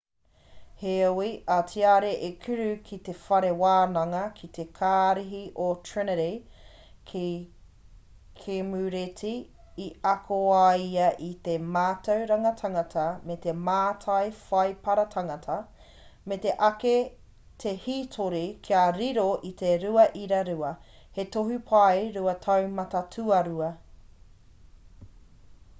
heoi a tiare i kura ki te whare wānanga ki te kārihi o trinity ki kemureti i ako ai ia i te mātauranga tangata me te mātai whaipara tangata me muri ake te hītori kia riro i te 2:2 he tohu pae rua taumata tuarua